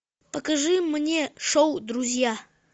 покажи мне шоу друзья